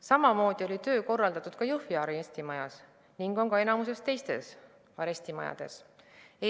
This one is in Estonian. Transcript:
Samamoodi oli töö korraldatud Jõhvi arestimajas ning on enamikus teistes arestimajades.